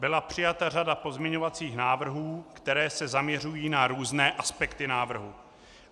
Byla přijata řada pozměňovacích návrhů, které se zaměřují na různé aspekty návrhu.